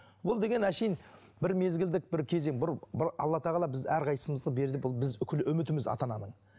бұл деген әшейін бір мезілдік бір кезең бір бір алла тағала бізді әрқайсымызды берді бұл біз үкілі үмітіміз ата ананың